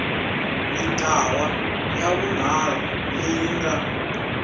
mintlawa ya vunharhu leyi nga